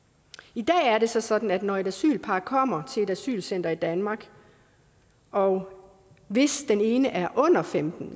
i dag er det så sådan at når et asylpar kommer til et asylcenter i danmark og hvis den ene er under femten